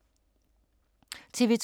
TV 2